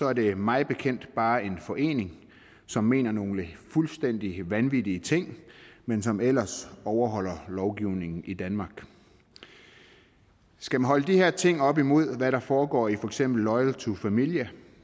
er det mig bekendt bare en forening som mener nogle fuldstændig vanvittige ting men som ellers overholder lovgivningen i danmark skal man holde de her ting op imod hvad der foregår i for eksempel loyal to familia